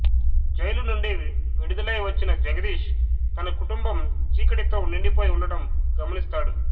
jail నుండి విడుదలై వచ్చిన జగదీష్ తన కుటుంబం చీకటితో నిండిపోయి ఉండడం గమనిస్తాడు